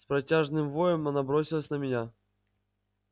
с протяжным воем она бросилась на меня